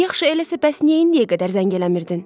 Yaxşı, eləsə bəs niyə indiyə qədər zəng eləmirdin?